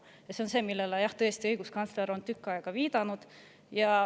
Ja see on see, millele õiguskantsler on tükk aega viidanud.